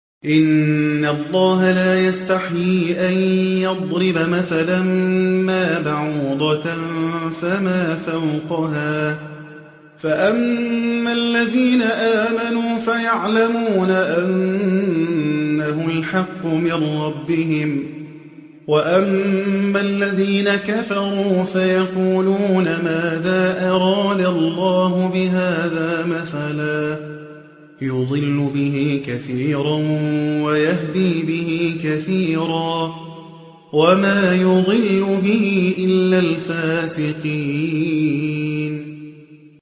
۞ إِنَّ اللَّهَ لَا يَسْتَحْيِي أَن يَضْرِبَ مَثَلًا مَّا بَعُوضَةً فَمَا فَوْقَهَا ۚ فَأَمَّا الَّذِينَ آمَنُوا فَيَعْلَمُونَ أَنَّهُ الْحَقُّ مِن رَّبِّهِمْ ۖ وَأَمَّا الَّذِينَ كَفَرُوا فَيَقُولُونَ مَاذَا أَرَادَ اللَّهُ بِهَٰذَا مَثَلًا ۘ يُضِلُّ بِهِ كَثِيرًا وَيَهْدِي بِهِ كَثِيرًا ۚ وَمَا يُضِلُّ بِهِ إِلَّا الْفَاسِقِينَ